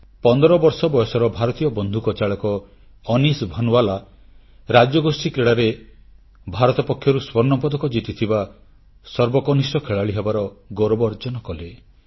15 ବର୍ଷ ବୟସର ଭାରତୀୟ ବନ୍ଧୁକଚାଳକ ଅନିଶ ଭାନୱାଲା ରାଜ୍ୟଗୋଷ୍ଠୀ କ୍ରୀଡ଼ାରେ ଭାରତ ପକ୍ଷରୁ ସ୍ୱର୍ଣ୍ଣପଦକ ଜିତିଥିବା ସର୍ବକନିଷ୍ଠ ଖେଳାଳି ହେବାର ଗୌରବ ଅର୍ଜନ କଲେ